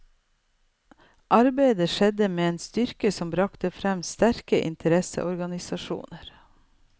Arbeidet skjedde med en styrke som bragte frem sterke interesseorganisasjoner.